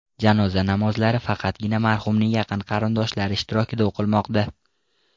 Janoza namozlari faqatgina marhumning yaqin qarindoshlari ishtirokida o‘qilmoqda.